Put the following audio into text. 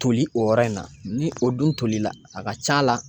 Toli o yɔrɔ in na, ni o dun tolila a ka c'a la